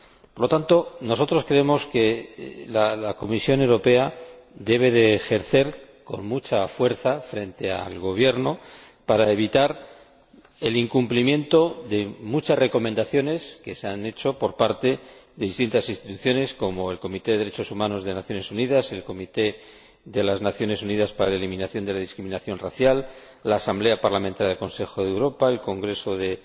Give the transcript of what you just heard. Por lo tanto, nosotros creemos que la Comisión Europea debe ejercer gran presión sobre el Gobierno para evitar el incumplimiento de muchas recomendaciones que se han hecho por parte de distintas instituciones como el Comité de Derechos Humanos de las Naciones Unidas, el Comité de las Naciones Unidas para la Eliminación de la Discriminación Racial, la Asamblea Parlamentaria del Consejo de Europa, el Congreso de